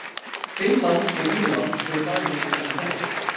Finnland og Írland eru bæði í þessum hópi.